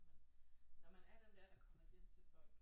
Men når man er den der der kommer hjem til folk